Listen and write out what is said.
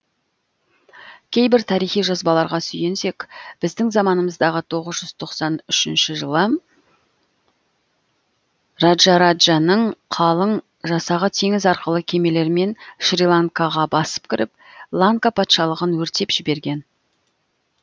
кейбір тарихи жазбаларға сүйенсек біздің заманымыздағы тоғыз жүз тоқсан үшінші жылы раджараджаның қалың жасағы теңіз арқылы кемелермен шриланкаға басып кіріп ланка патшалығын өртеп жіберген